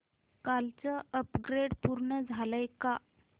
कालचं अपग्रेड पूर्ण झालंय का